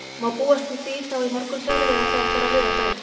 Má búast við því þá í morgunsárið eða þegar fer að líða á daginn?